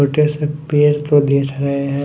छोटे से पेर प गिर रहे हैं।